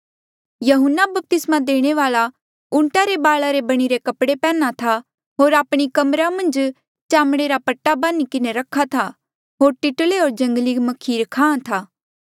यहून्ना बपतिस्मा देणे वाल्आ ऊंटा रे बाला रे बणिरे कपड़े पैहन्ना था होर आपणी कमरा मन्झ चामड़े रा पट्टा बान्ही रख्हा था होर टिटले होर जंगली म्खीर खाहां था